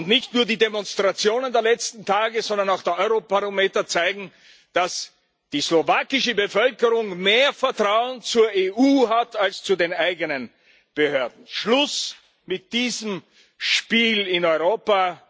Nicht nur die Demonstrationen der letzten Tage, sondern auch der Eurobarometer zeigen, dass die slowakische Bevölkerung mehr Vertrauen zur EU hat als zu den eigenen Behörden. Schluss mit diesem Spiel in Europa!